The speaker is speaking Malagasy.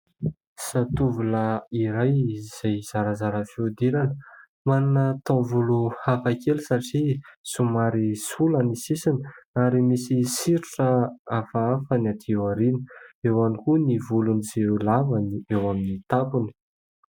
Zatovolahy iray izay zarazara fihodirana, manana tao volo hafa kely satria somary sola ny sisiny, ary misy soritra hafahafa ny aty aoriana; eo ihany koa ny volony izay lava ny eo amin'ny tampony.